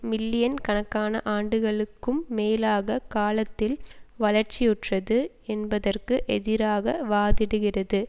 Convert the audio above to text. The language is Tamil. மில்லியன் கணக்கான ஆண்டுகளுக்கும் மேலான காலத்தில் வளர்ச்சியுற்றது என்பதற்கு எதிராக வாதிடுகிறது